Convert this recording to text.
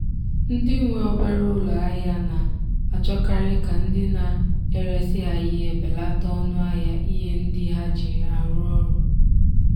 ndị nwe obere ụlọ ahịa na-achọkarị ka ndị na-eresị ha ihe belata ọnụ ahịa ihe ndị ha ji arụ ọrụ